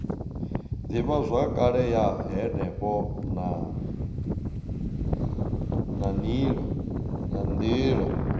ivhazwakale ya henefho na nila